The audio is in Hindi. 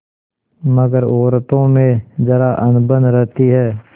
मगर औरतों में जरा अनबन रहती है